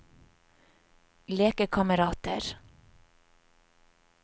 lekekamerater